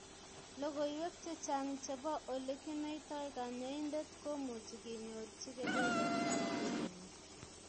Logoiwek chechang chebo olekinoitoi kanyoindet komuchi kenyorchi kebebertab living with.